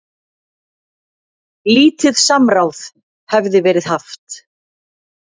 Lítið samráð hefði verið haft.